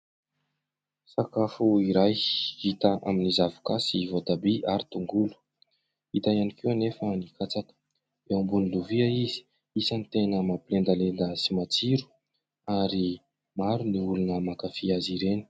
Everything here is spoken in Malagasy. Sakafo iray, hita amin'ny zavoka sy voatabia ary tongolo, hita ihany koa anefa ny katsaka. Eo ambony lovia izy, isan'ny tena mampilendalenda sy matsiro ary maro ny olona mankafy azy ireny.